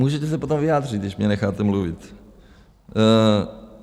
Můžete se potom vyjádřit, když mě necháte mluvit.